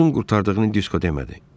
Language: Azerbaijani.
Duzun qurtardığını Disko demədi.